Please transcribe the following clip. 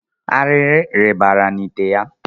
Arịrị rịbara n'ìtè ya.